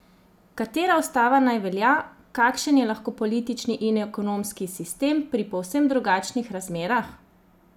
Katera ustava naj velja, kakšen je lahko politični in ekonomski sistem pri povsem drugačnih razmerah?